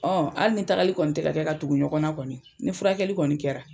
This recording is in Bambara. hali ni tagali kɔni tɛ ka kɛ ka tugu ɲɔgɔnna kɔni ni furakɛli kɔni kɛra,